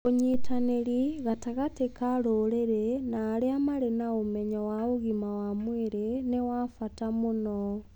ũnyitanĩri gatagatĩ ka rũrĩrĩ na arĩa marĩa na ũmenyo wa ũgima wa mwĩrĩ nĩ wa bata mũno.